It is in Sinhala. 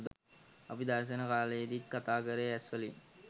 අපි දර්ශන තලයේදී කතා කළේ ඇස්වලින්.